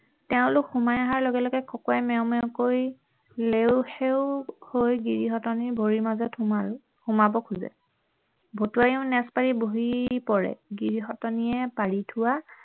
তেওঁলোক সোমাই অহাৰ লগে লগে খকুৱাই মেও মেওকৈ লেও সেও হৈ গিৰিহঁতনীৰ ভৰিৰ মাজত সোমাব খুজে ভতুৱাইও নেজ পাৰি বহি পৰে গিৰিহঁতনী পাৰি থোৱা